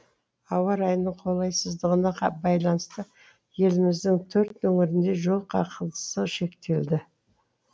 ауа райының қолайсыздығына байланысты еліміздің төрт өңірінде жол қақғылысы шектелді